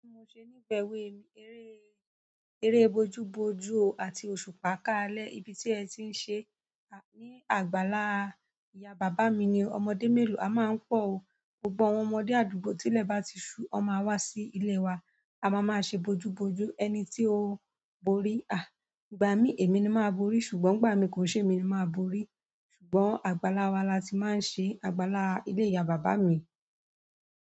Bí mo ṣe nífẹ̀ẹ́ ewe mi, eré, eré bojú bojú àti òṣùpá káalẹ́ ibi tí ẹ ti ń ṣe é ní àgbàlá ìyá bàbá mi ni o. Ọmọdé mélòó a máa ń pọ̀ o. Gbogbo àwọn ọmọdé àdúgbò tílẹ̀ bá ti ṣú, wọn máa wá sí ilé wa. A ma máa ṣe bojú-bojú. Ẹni tí ó bóri, ìgbà míí èmi ni máa borí ṣùgbọ́n nígbà ìmí kì í ṣe èmi ni máa borí. Ṣùgbọ́n àgbàlá wa la ti máa ń ṣe, àgbàlá ilé ìyá bàbá mi.